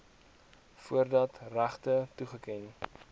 voordat regte toegeken